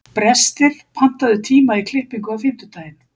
Brestir, pantaðu tíma í klippingu á fimmtudaginn.